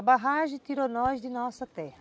A barragem tirou nós de nossa terra.